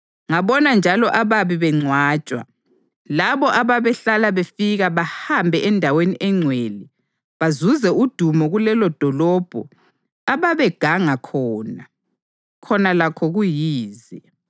Ngabona njalo ababi bengcwatshwa, labo ababehlala befika bahambe endaweni engcwele bazuze udumo kulelodolobho ababeganga khona. Khona lakho kuyize.